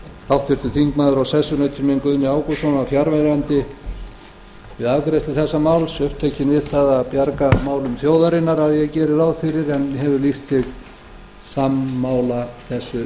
háttvirtur þingmaður og sessunautur minn guðni ágústsson var fjarverandi við afgreiðslu þessa máls upptekinn við það að bjarga málum þjóðarinnar að ég geri ráð fyrir en hefur lýst sig sammála þessu